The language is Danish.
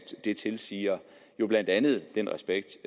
det tilsiger jo blandt andet den respekt